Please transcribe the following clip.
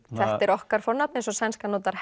okkar fornafn eins og sænskan notar